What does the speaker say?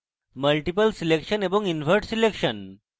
multiple selection এবং invert selection